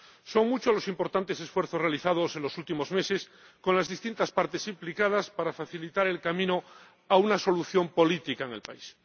Son muchos los importantes esfuerzos realizados en los últimos meses con las distintas partes implicadas para facilitar el camino hacia una solución política en el país.